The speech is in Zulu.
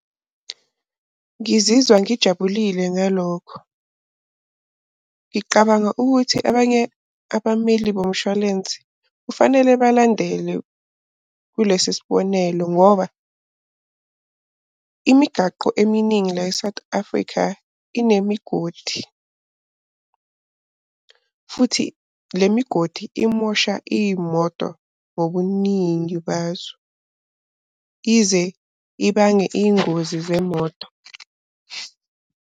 Ngizizwa ngijabulile ngalokho, ngiqabanga ukuthi abanye abameli bomshwalense kufanele balandele kulesi sibonelo. Ngoba imigwaqo eminingi la e-South Africa inemigodi futhi le migodi imosha iy'moto ngobuningi bazo. Ize ibange iy'ngozi zemoto.